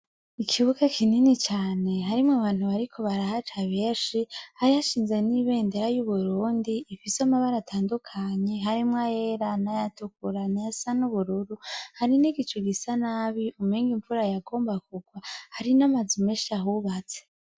Ikibuga kinini cane harimwo abantu bariko barahaca benshi, hashinze n'ibendera ry'igihugu c'Uburundi ririmwo amabara atandukanye, harimwo ayera , n'ayatukura, n'ayasa n'ubururu, hari n'igicu gisa nabi umenga imvura yagomba kugwa. Hari n'amazu menshi ahubatse.